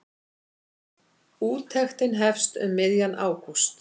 Úttektin hefst um miðjan ágúst.